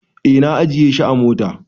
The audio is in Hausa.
Eh na ajiye shi a mota.